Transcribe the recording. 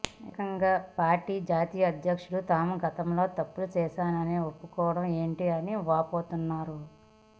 ఏకంగా పార్టీ జాతీయ అధ్యక్షుడు తాము గతంలో తప్పులు చేశామని ఒప్పుకోవడం ఏంటని వాపోతున్నారు